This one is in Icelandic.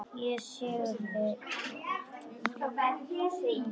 Ekki syrgi ég það.